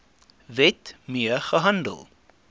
wet mee gehandel